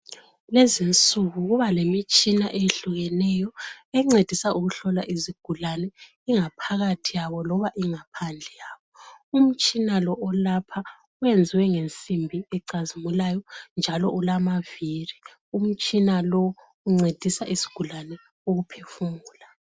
Kulezi insiku kuba lemitshina eyehlukeneyo engcedisa ukuhlola izigulani ingaphakathi yabo labo ingaphandle yabo umtshina lo olapha wenze ngensimbi ecazimulayo njalo ulamaviri umtshina lo uncedisa isigulani ukuphefumula